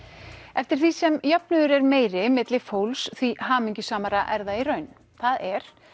eftir því sem jöfnuður er meiri milli fólks því hamingjusamara er það í raun það er